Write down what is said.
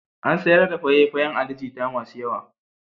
An sayar da faye-fayan Ali Jita masu yawa.